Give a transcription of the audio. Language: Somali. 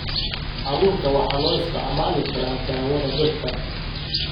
Abuurka waxaa loo isticmaali karaa daawada dhirta.